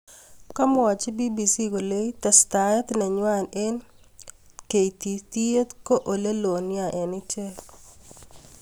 Kamuachi BBC kole testaet nenywa eng keititiet ko oleloo nea eng ichek.